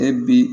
E bi